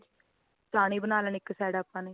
ਚਾਨੀ ਬਣਾ ਲੈਣੀ ਇੱਕ side ਆਪਾ ਨੇ